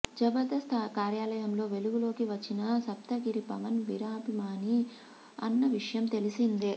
జబర్దస్త్ కార్యక్రమంలో వెలుగులోకి వచ్చిన సప్తగిరి పవన్ వీరాభిమాని అన్న విషయం తెలిసిందే